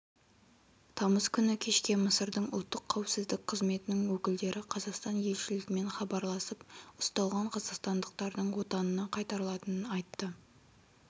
тамыз күні кешке мысырдың ұлттық қауіпсіздік қызметінің өкілдері қазақстан елшілігімен хабарласып ұсталған қазақстандақтардың отанына қайтарылатынын айтты